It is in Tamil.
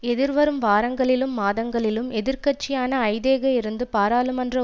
எதிர்வரும் வாரங்களிலும் மாதங்களிலும் எதிர் கட்சியான ஐதேக இருந்து பாராளுமன்ற